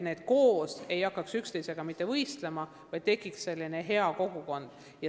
Need koolid ei peaks hakkama üksteisega võistlema, vaid seal peaks tekkima hea kogukond.